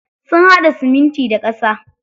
Sun haɗa siminti da ƙasa.